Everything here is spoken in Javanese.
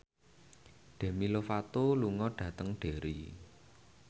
Demi Lovato lunga dhateng Derry